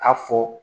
A fɔ